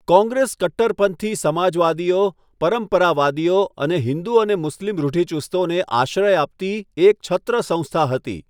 કોંગ્રેસ કટ્ટરપંથી સમાજવાદીઓ, પરંપરાવાદીઓ અને હિન્દુ અને મુસ્લિમ રૂઢિચુસ્તોને આશ્રય આપતી એક છત્ર સંસ્થા હતી.